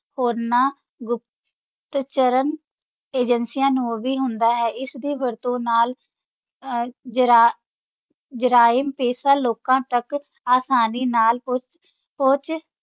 ਹੋਰਨਾਂ ਗੁਪਤਚਰ ਏਜੰਸੀਆਂ ਨੂੰ ਵੀ ਹੁੰਦਾ ਹੈ, ਇਸ ਦੀ ਵਰਤੋਂ ਨਾਲ ਅਹ ਜਰਾ~ ਜਰਾਇਮ-ਪੇਸ਼ਾ ਲੋਕਾਂ ਤੱਕ ਆਸਾਨੀ ਨਾਲ ਪਹੁੰਚ, ਪਹੁੰਚ